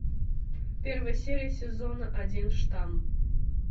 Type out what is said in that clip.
первая серия сезона один штамм